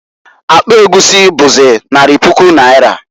Akpa egwusi͈ buzi, nari puku naira.